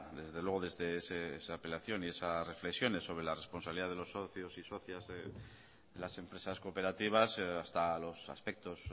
desde luego desde esa apelación y esas reflexiones sobre la responsabilidad de los socios y socias de las empresas cooperativas hasta los aspectos